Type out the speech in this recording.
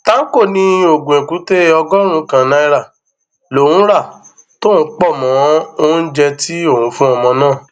tanko ní oògùn èkúté ọgọrùnún kan náírà lòún ra tòun pọ mọ oúnjẹ tí òun fún ọmọ náà